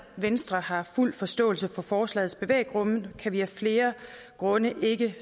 venstre har fuld forståelse for forslagets bevæggrunde kan vi af flere grunde ikke